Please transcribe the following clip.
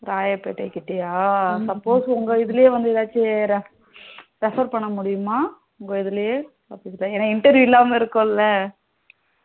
Royapettah கிட்டயா suppose உங்க இதுலே ஏதாச்சும் refer பண்ண முடியுமா என்னா interview இல்லாம இருக்கும்ல